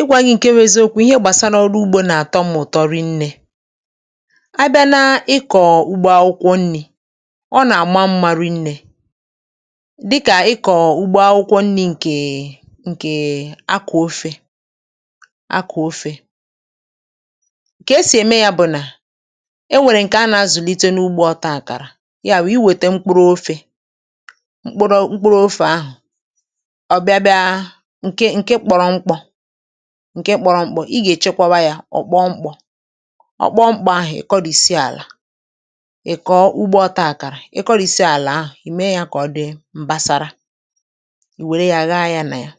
ịgwȧ gị̇ ǹke rezoȯkwu, ihe gbàsara ọrụ ugbȯ n’àtọ, mụ̀tọ rinnė abịa na-ikọ̀ ụgbọ akwụkwọ nni̇. Ọ nà-àma mmȧ, rinnė dịkà ịkọ̀ ugbȯ akwụkwọ nni̇, ǹkè ǹkè akọ̀ ofė. Akọ̀ ofė kà esì ème yȧ bụ̀ nà e nwèrè ǹkè a nà-azụ̀lite n’ugbȯ. Ọtȧ àkàrà ya bụ̀ i wète mkpụrụ ofė, mkpụrụ ofė ahụ̀ ǹke kpọrọ mkpọ̇, ǹkẹ̀ kpọrọ mkpọ̇. Ị gà èchekwaba yȧ; ọ̀ kpọọ mkpọ̇, ọ kpọọ mkpọ̇ ahụ̀, ị kọrìsìe àlà. Ị̀ kọ̀ ụgbọta àkàrà, ị kọrìsì àlà ahụ̀, ì mee yȧ kà ọ dị m̀basara. um Ì wère yȧ, gha ya nà yȧ,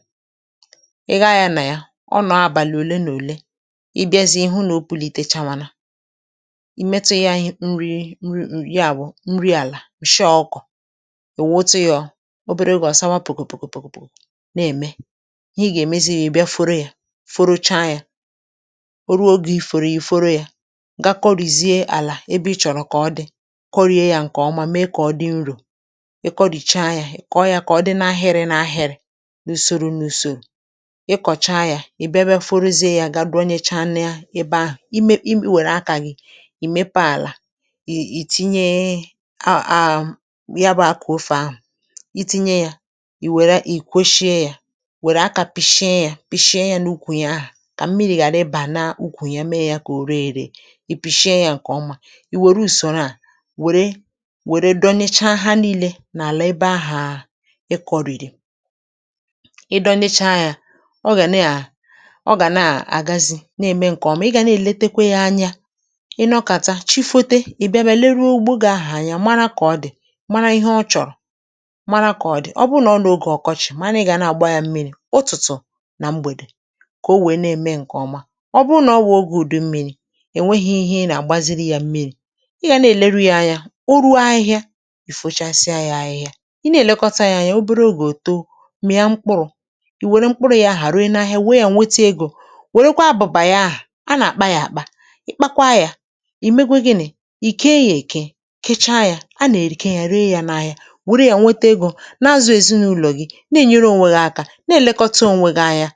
ị gha ya nà yȧ. Ọ nọ̀ àbàlị̀ òle nà òle, ị bịazị̇, ị hụ nà o pulite, chawanà i metu̇ yȧ. Ànyị nri nri àbụ̀ nri àlà, ǹshọ ọkụ̀. Ị̀ wụ̀ otu yȧ, obere gị̇, ọ̀sawa pòkòpòkòpòkòpòkò na-ème, furu cha yȧ. O ruo ogè ìfòrò, ìfuru yȧ, ga kọrìzie àlà ebe ị chọ̀rọ̀, kọrịe yȧ ǹkè ọma, mee kà ọ dị nrò. Ì kọrìcha yȧ, kọrịa yȧ, kà ọ dị n’ahịrị n’ahịrị, n’ùsòrò n’ùsò. Ịkọ̀cha yȧ, ị̀ bịa, bịa foruzie yȧ, ga durianya ebe ahụ̀.Ì me, i wère akànyị̀, ì mepe àlà, ì tinye aàm, ya bụ̇ akụ̀ ofè ahụ̀. Ì tinye yȧ, ì wère ì kwosie yȧ kà mmiri̇ ghàra ịbà n’ukwùnyè ya, mee yȧ kà o ree èree. um Ì pìshie yȧ ǹkè ọma, ì wère ùsòrò nàà, wère wère, dọnịcha ha nii̇lė n’àlà ebe ahà ịkọ̀rìrì. Ì dọnịcha yȧ, ọ gà neà, ọ gà na àgazi, neè me ǹkè ọma.Ị mị gà na èletekwe ya anya, ị nọkàta chi, fote, ì bịa bịa leruo ogbò, gà ahù anya, mara kà ọ dị̀, mara ihe ọ chọ̀rọ̀, mara kà ọ dị. Ọ bụ nà ọ n’ogè ọkọchị̀, mara ị gà na àgba ya mmiri̇ kà o wèe na-ème ǹkè ọma.Ọ bụrụ nà ọ bụ nà ogè ùdu mmiri̇, è nweghi ihe ị nà-àgbaziri yȧ mmiri̇; ị gà na-èlere ya anya o ruo ahị̇ȧ.Ì fochasịa ya ahị̇ȧ, ị na-èlekọta ya anya. Ọ buru o gà èto mìya mkpụrụ̇, ì wère mkpụrụ̇ ya, ahà haruo, ịnaghị e wee yȧ, nwete egȯ. Wèrekwa bụ̀bàrà ya, ahà a nà-àkpa yȧ àkpa; ì kpakwa yȧ, ì megwe gịnị̇, ì kee yȧ, èke kechaa yȧ. um A nà-èrìke yȧ, ree yȧ n’ahịa, wère yȧ nwete egȯ, na-azụ̇ èzinụlọ̀ gị̇, ànyị.